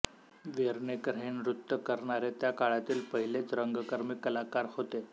वेर्णेकर हे नृत्य करणारे त्या काळांतील पहिलेच रंगकर्मी कलाकार होते